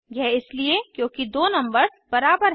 यह इसलिए क्योंकि दो नम्बर्स बराबर हैं